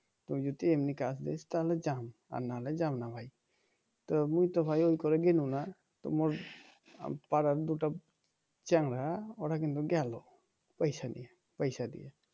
তুই যদি এমনি কাজ দিস তাহলে যাবো আর নাহলে যাবনা ভাই তা মুই তো করে গেলাম না পাড়ার দুটো চ্যাংড়া ওরা কিন্তু গেল পয়সা নিয়ে পয়সা দিয়ে